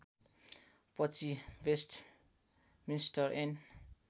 पछि वेस्टमिन्स्टर ऐन